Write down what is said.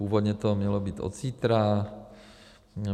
Původně to mělo být od zítra.